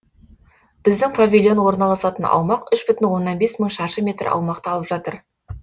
біздің павильон орналасатын аумақ үш бүтін оннан бес мың шаршы метр аумақты алып жатыр